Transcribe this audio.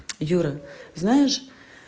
юра знаешь